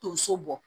Tonso bɔ